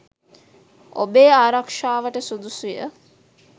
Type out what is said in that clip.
ඔබේ ආරක්ෂාවට සුදුසුය